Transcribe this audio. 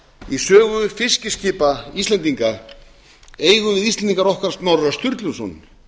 í sögu fiskiskipa íslendinga eigum við íslendingar okkar snorra sturluson